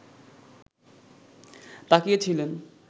তাকিয়েছিলেন